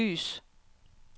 lys